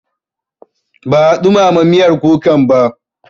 Ban ɗumama miyar kukan ba.